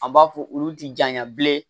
An b'a fɔ olu ti janɲa bilen